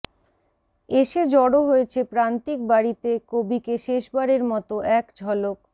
এসে জড়ো হয়েছে প্রান্তিক বাড়িতে কবিকে শেষবারের মতো এক ঝলক